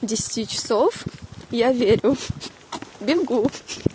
десяти часов я верю бегу